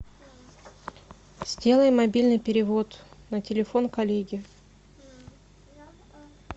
сделай мобильный перевод на телефон коллеги